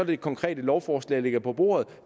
det konkrete lovforslag ligger på bordet